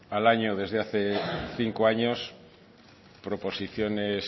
al año desde hace cinco años proposiciones